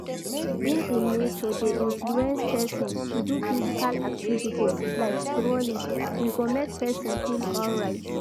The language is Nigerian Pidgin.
Being in nature de inflence persin to do physical activities like strolling we go make persin feel alright